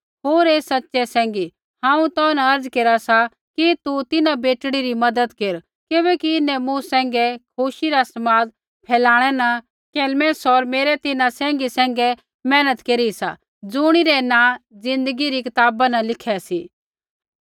होर हे सच़ै सैंघी हांऊँ तो न अर्ज़ा केरा सा कि तू तिन्हां बेटड़ी री मज़द केर किबैकि इन्हैं मूँ सैंघै खुशी रा समाद फेलाणै न कलेमेंस होर मेरै तिन्हां सैंघी सैंघै मेहनत केरी सा ज़ुणिरै नाँ ज़िन्दगी री कताबा न लिखै सी